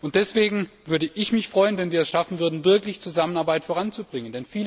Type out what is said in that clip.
Und deswegen würde ich mich freuen, wenn wir es schaffen würden, wirklich Zusammenarbeit voranzubringen.